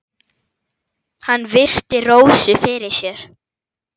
Hann virti Rósu fyrir sér.